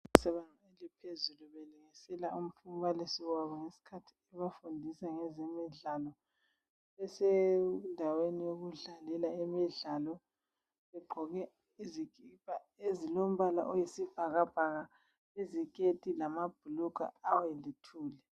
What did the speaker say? Ezingeni eliphezulu belungisela umbalisi wabo ngesikhathi ebafundisa ngezemidlalo , besendaweni yokudlalela imidlalo begqoke izikipa ezilombala oyisibhakabhaka , iziketi lamabhulugwe aweluthuli